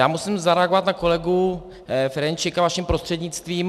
Já musím zareagovat na kolegu Ferjenčíka vaším prostřednictvím.